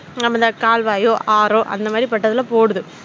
நம்மள கால்வாயோ ஆறு அந்த மாதிரி பட்டதுல ஓடுது